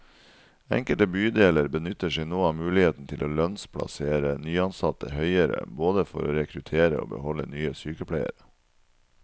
Enkelte bydeler benytter seg nå av muligheten til å lønnsplassere nyansatte høyere, både for å rekruttere og beholde nye sykepleiere.